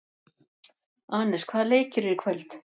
Anes, hvaða leikir eru í kvöld?